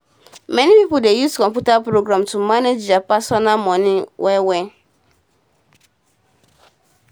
many pipo dey use computer program to manage deir personal moni well well